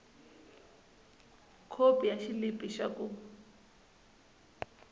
khopi ya xilipi xa ku